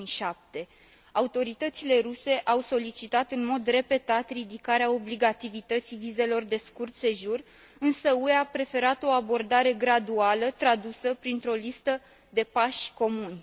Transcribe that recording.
2007. Autoritățile ruse au solicitat în mod repetat ridicarea obligativității vizelor de scurt sejur, însă UE a preferat o abordare graduală, tradusă printr o listă de pași comuni.